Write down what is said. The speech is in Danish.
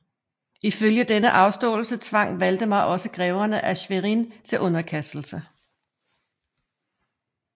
Ifølge denne afståelse tvang Valdemar også greverne af Schwerin til underkastelse